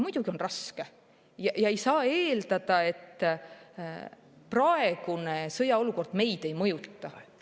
Muidugi on raske ja ei saa eeldada, et praegune sõjaolukord meid ei mõjuta.